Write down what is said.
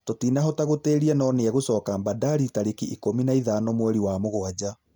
Tũtinahota gũtĩria no niegũcoka Bandari tarĩki ikũmi na ithano mweri wa mũgwaja